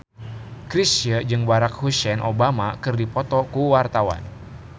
Chrisye jeung Barack Hussein Obama keur dipoto ku wartawan